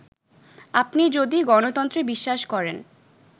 আপনি যদি গণতন্ত্রে বিশ্বাস করেন